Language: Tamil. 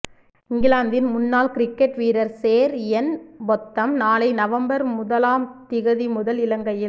இங்கிலாந்தின் முன்னாள் கிரிக்கெட் வீரர் சேர் இயன் பொத்தம் நாளை நவம்பர் முதலாம் திகதி முதல் இலங்கையில்